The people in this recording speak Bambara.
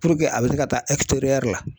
a bɛ se ka taa la